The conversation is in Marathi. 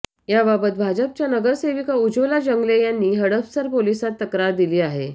याबाबत भाजपच्या नगरसेविका उज्वला जंगले यांनी हडपसर पोलिसांत तक्रार दिली आहे